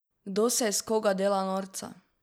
Kdo se iz koga dela norca?